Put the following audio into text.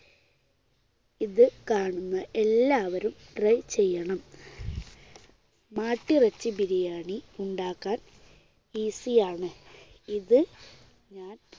ഇത് കാണുന്ന എല്ലാവരും try ചെയ്യണം. മാട്ടിറച്ചി ബിരിയാണി ഉണ്ടാക്കാൻ easy യാണ്. ഇത് ഞാൻ